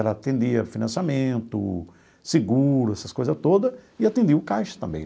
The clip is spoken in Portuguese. Ela atendia financiamento, seguro, essas coisas todas, e atendia o caixa também.